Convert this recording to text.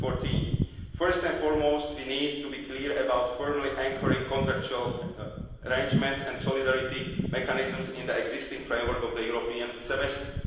2014. First and foremost, we need to be clear about firmly anchoring contractual arrangements and solidarity mechanisms in the existing framework of the European Semester.